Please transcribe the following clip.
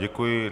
Děkuji.